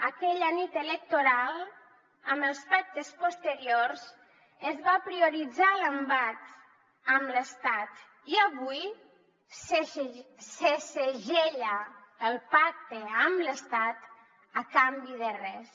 aquella nit electoral amb els pactes posteriors es va prioritzar l’embat contra l’estat i avui se segella el pacte amb l’estat a canvi de res